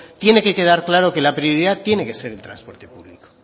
tiene que quedar claro que la prioridad tiene que ser el transporte público